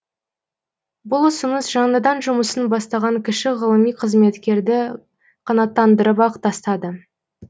бұл ұсыныс жаңадан жұмысын бастаған кіші ғылыми қызметкерді қанаттандырып ақ тастады